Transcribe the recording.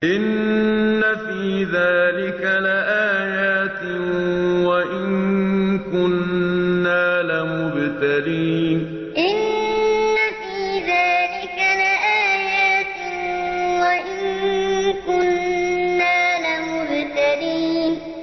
إِنَّ فِي ذَٰلِكَ لَآيَاتٍ وَإِن كُنَّا لَمُبْتَلِينَ إِنَّ فِي ذَٰلِكَ لَآيَاتٍ وَإِن كُنَّا لَمُبْتَلِينَ